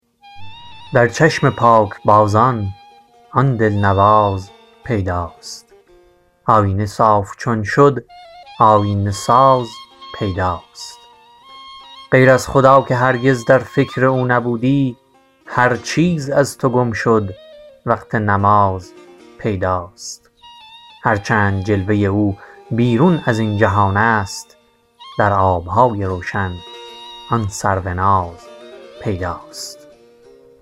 در چشم پاکبازان آن دلنواز پیداست آیینه صاف چون شد آیینه ساز پیداست غیر از خدا که هرگز در فکر او نبودی هر چیز از تو گم شد وقت نماز پیداست هر چند جلوه او بیرون ازین جهان است در آبهای روشن آن سروناز پیداست